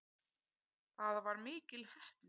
Það var mikil heppni